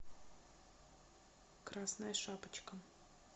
красная шапочка